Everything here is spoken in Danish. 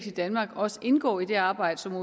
i danmark også indgår i det arbejde som